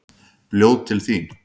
Ljóð til þín.